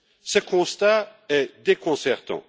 Ce constat est déconcertant.